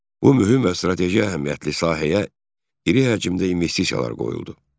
Bu mühüm və strateji əhəmiyyətli sahəyə iri həcmdə investisiyalar qoyuldu.